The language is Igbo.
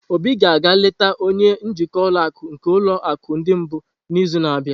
Obi ga-aga eleta onye njikwa ụlọ akụ nke ulo akụ ndi mbu n'izu na-abịa.